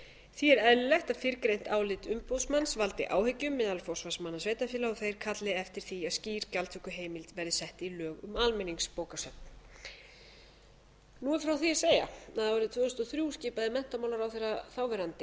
því er eðlilegt að fyrrgreint álit umboðsmanns valdi áhyggjum meðal forsvarsmanna sveitarfélaga og þeir kalli eftir því að skýr gjaldtökuheimild verði sett í lög um almenningsbókasöfn nú er frá því að segja að árið tvö þúsund og þrjú skipaði menntamálaráðherra þáverandi